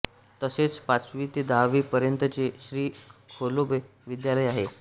तसेच पाचवी ते दहावी पर्यंतचे श्री खेलोबा विद्यालय आहे